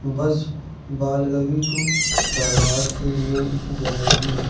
बस बालगावी टू धारवाड़ के लिए जाएगी।